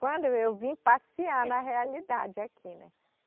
Quando eu vim passear na realidade aqui, né?